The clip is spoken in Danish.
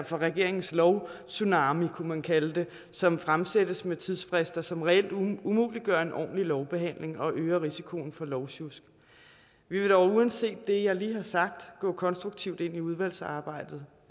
for regeringens lovtsunami kunne man kalde det som fremsættes med tidsfrister som reelt umuliggør en ordentlig lovbehandling og øger risikoen for lovsjusk vi vil dog uanset det jeg lige har sagt gå konstruktivt ind i udvalgsarbejdet